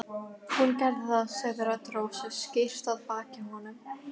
Hún gerði það sagði rödd Rósu skýrt að baki honum.